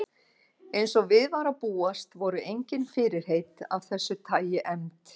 Eins og við var að búast voru engin fyrirheit af þessu tagi efnd.